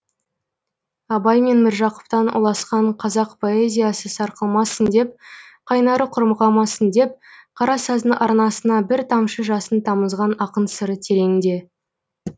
абай мен міржақыптан ұласқан қазақ поэзиясы сарқылмасын деп қайнары құрмығамасын деп қарасаздың арнасына бір тамшы жасын тамызған ақын сыры тереңде